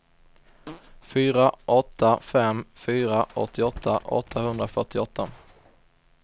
fyra åtta fem fyra åttioåtta åttahundrafyrtioåtta